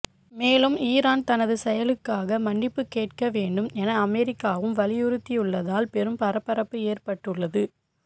மேலும் ஈரான் தனது செயலுக்காக மன்னிப்பு கேட்க வேண்டும் என அமெரிக்காவும் வலியுறுத்தியுள்ளதால் பெரும் பரபரப்பு ஏற்பட்டுள்ளது